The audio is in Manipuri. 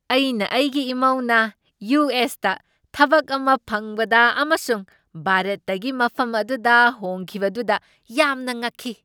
ꯑꯩꯅ ꯑꯩꯒꯤ ꯏꯃꯧꯅ ꯌꯨ. ꯑꯦꯁ. ꯇ ꯊꯕꯛ ꯑꯃ ꯐꯪꯕꯗ ꯑꯃꯁꯨꯡ ꯚꯥꯔꯠꯇꯒꯤ ꯃꯐꯝ ꯑꯗꯨꯗ ꯍꯣꯡꯈꯤꯕꯗꯨꯗ ꯌꯥꯝꯅ ꯉꯛꯈꯤ꯫